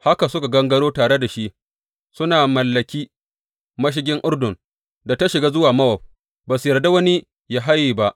Haka suka gangaro tare da shi suna mallaki mashigin Urdun da ta shiga zuwa Mowab, ba su yarda wani ya haye ba.